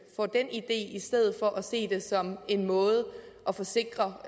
får den idé i stedet for at se det som en måde at forsikre